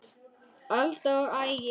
Alda og Ægir.